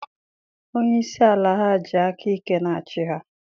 Onye isi ala ha ji aka ike na-achị ha.